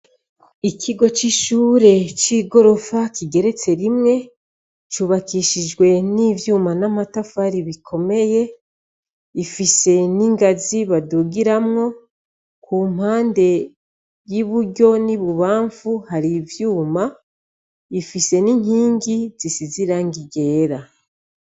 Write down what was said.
Ikigo c'ishure c'igorofa rigeretse rimwe, cubakishijwe n'ivyuma n'amatafari bikoeye, bifise n'ingazi badugiramwo, kumpande y'iburuo n'ibumbanfu, hari ivyuma bifise n'inkingi zisize irangi ryera.